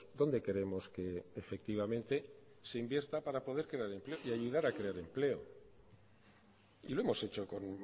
dónde queremos que efectivamente se invierta para poder crear empleo y ayudar a crear empleo y lo hemos hecho con